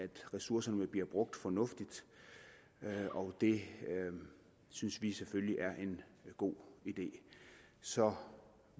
ressourcerne bliver brugt fornuftigt og det synes vi selvfølgelig er en god idé så